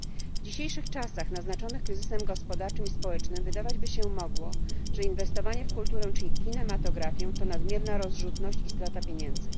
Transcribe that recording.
W dzisiejszych czasach naznaczonych kryzysem gospodarczym i społecznym wydawać by się mogło, że inwestowanie w kulturę czy w kinematografię to nadmierna rozrzutność i strata pieniędzy.